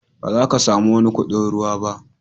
Ba za ka samu wani kuɗin ruwa ba.